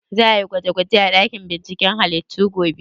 Za a yi gwaje gwaje a ɗakin binciken halittu gobe?